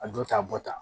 A don ta bɔ tan